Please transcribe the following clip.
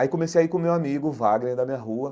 Aí comecei a ir com o meu amigo, o Vagner, da minha rua.